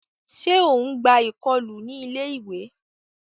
Ṣe o n gbà ikọlu ní ilé-ìwé?